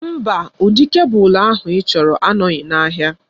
Mba, ụdị kebụl ahụ ịchọrọ anọghị n'ahịa.